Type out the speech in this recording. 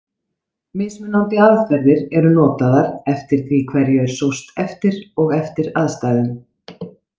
Mismunandi aðferðir eru notaðar eftir því hverju er sóst eftir og eftir aðstæðum.